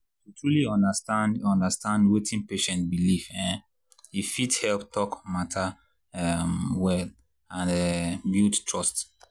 to truly understand understand wetin patient believe um e fit help talk matter um well and um build trust.